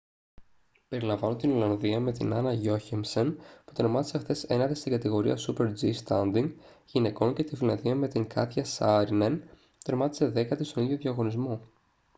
περιλαμβάνουν την ολλανδία με την anna jochemsen που τερμάτισε χθες ένατη στην κατηγορία super-g standing γυναικών και τη φιλανδία με την katjia saarinen που τερμάτισε δέκατη στον ίδιο διαγωνισμό